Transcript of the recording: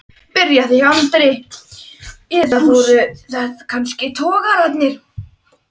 byrjaði Andri, eða voru það kannski togararnir?